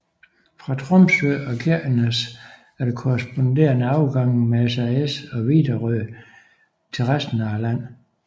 Fra Tromsø og Kirkenes er der korresponderende afgange med SAS og Widerøe til resten af landet